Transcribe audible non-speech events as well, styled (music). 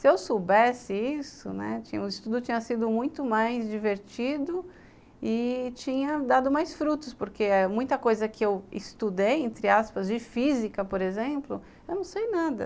Se eu soubesse isso, né, (unintelligible) tinha o estudo tinha sido muito mais divertido e tinha dado mais frutos, porque muita coisa que eu estudei, entre aspas, de física, por exemplo, eu não sei nada.